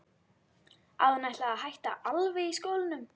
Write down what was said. Að hún ætlaði að hætta alveg í skólanum.